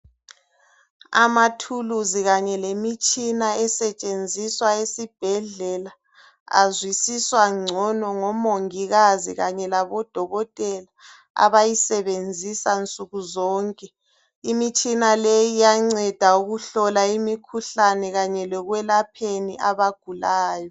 Amathuluzi kanye lemitshina esetshenziswa esibhedlela azwisiswa gcono ngomongikazi kanye labodokotela abayisebenzisa nsukuzonke imitshina leyi iyanceda ukuhlola imikhuhlane kanye lokwelapheni abagulayo.